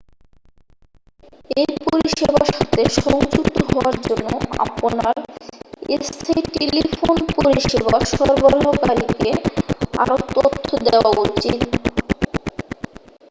এই পরিষেবার সাথে সংযুক্ত হওয়ার জন্য আপনার স্থানীয় টেলিফোন পরিষেবা সরবরাহকারীকে আরও তথ্য দেওয়া উচিত